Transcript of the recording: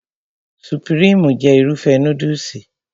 Supirimu jẹ́ Irúfẹ́ núdùsì